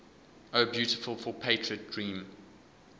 o beautiful for patriot dream